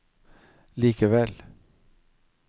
likevel